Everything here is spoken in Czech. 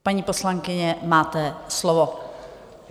Paní poslankyně, máte slovo.